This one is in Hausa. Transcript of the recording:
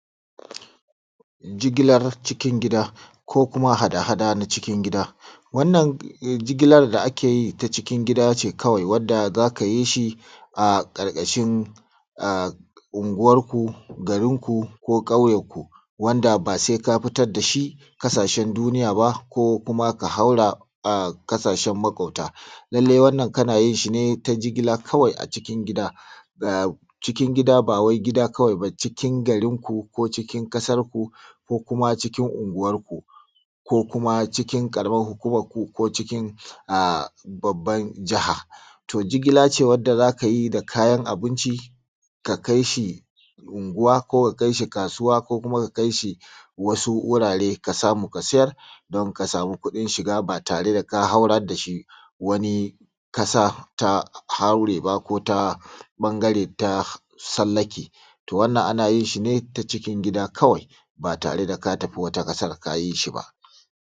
Jigilar cikin gida ko kuma hada-hada na cikin gida. Wannan jigilar da ake yi ta cikin gida ce kawai wanda za ka yi shi a karkashin unguwarku garinku ko kauyenku wanda ba sai ka fitar da shi kasashe duniya ba ko kuma ka haura kasashen makwabta. Lallai wannan kana yin shi ne ta jigila kawai a cikin gida ba wai gida kawai ba, cikin garinku ko cikin ƙasarku ko kuma cikin unguwarku ko kuma cikin karamar hukumarku ko a babban jiha. To jigila ce wanda za ka yi da kayan abunci, ka kai shi unguwa ko ka kai shi kasuwa ko kuma ka kai shi wasu wurare ka samu ka sayar don ka samu kudin shiga ba tare da ka haurar da shi wani ƙasa ta haure ba ko ta ɓangare ta tsallake. To, wannan ana yin shi ne ta cikin gida kawai ba tare da ka tafi wata ƙasar ka yi shi ba.